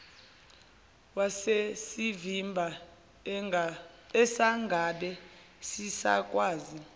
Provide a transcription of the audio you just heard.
wasesivimba asangabe sisakwazi